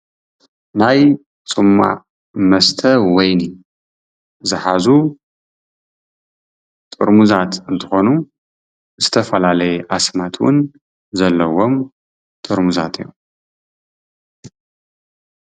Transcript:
ናይ ፅማቅ መስተ ወይኒ ዝሓዙ ጥርሙዛት እንትኾኑ ዝተፈላላዩ ኣስማት እውን ዘለወም ጥርሙዛት እዮም።